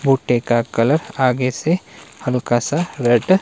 भुट्टे का कलर आगे से हल्का सा रेड --